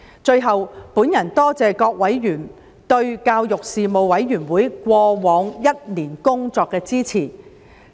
最後，我多謝各委員對事務委員會過往一年工作的支持。